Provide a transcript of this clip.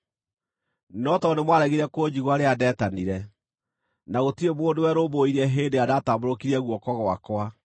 No tondũ nĩmwaregire kũnjigua rĩrĩa ndetanire, na gũtirĩ mũndũ werũmbũirie hĩndĩ ĩrĩa ndatambũrũkirie guoko gwakwa,